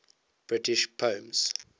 british poems